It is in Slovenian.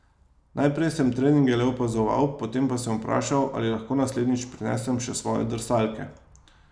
Najprej sem treninge le opazoval, potem pa sem vprašal, ali lahko naslednjič prinesem še svoje drsalke.